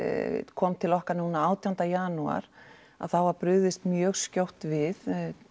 kom til okkar núna átjánda janúar að þá var brugðist mjög skjótt við